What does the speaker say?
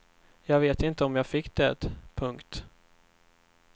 Jag vet inte om jag fick det. punkt